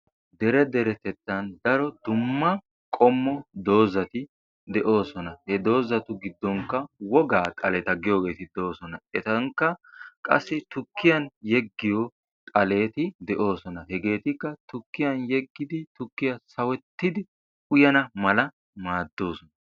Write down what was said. dere derettettan daro dumma qommo doozzati de'oosona. he doozzatu giddonkka wogaa xaaleta giyoogeti de"oosona. etankka qassi tukkiyaan yeegiyoo xaaleti de'oosona. hegeetikksa tukkiyaan yeeggidi tukkiyaa sawetti uyanna mala maaddoosona.